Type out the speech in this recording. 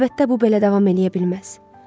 Əlbəttə, bu belə davam eləyə bilməz.